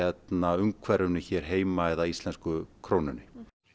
umhverfinu hér heima eða íslensku krónunni